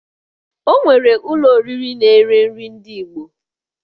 O nwere ụlọ oriri na-ere nri ndị Igbo